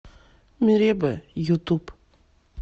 мереба ютуб